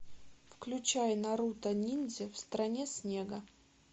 включай наруто ниндзя в стране снега